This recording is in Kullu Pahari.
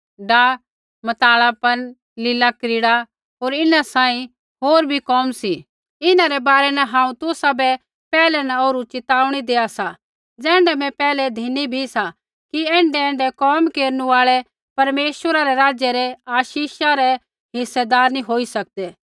डाह मतवालापन लिलाक्रीड़ा होर इन्हां सांही होर भी कोम सी इन्हां रै बारै न हांऊँ तुसाबै पैहलै न ओरु चेताऊणी देआ सा ज़ैण्ढा मैं पैहलै धिनी भी सा कि ऐण्ढैऐण्ढै कोम केरनै आल़ै परमेश्वरा रै राज्य रै आशीषा रै हिस्सेदार नी होई सकदै